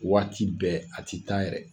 Waati bɛɛ, a tɛ taa yɛrɛ.